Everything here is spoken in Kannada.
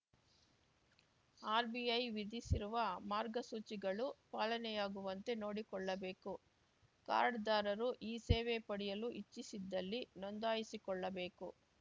ಆರ್‌ಬಿಐ ವಿಧಿಸಿರುವ ಮಾರ್ಗಸೂಚಿಗಳು ಪಾಲನೆಯಾಗುವಂತೆ ನೋಡಿಕೊಳ್ಳಬೇಕು ಕಾರ್ಡ್‌ದಾರರು ಈ ಸೇವೆ ಪಡೆಯಲು ಇಚ್ಛಿಸಿದ್ದಲ್ಲಿ ನೋಂದಾಯಿಸಿಕೊಳ್ಳಬೇಕು